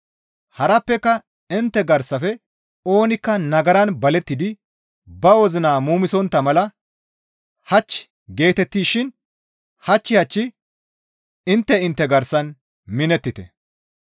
Harappeka intte garsafe oonikka nagaran balettidi ba wozina muumisontta mala, «Hach» geetettishin hach hach intte intte garsan minettite.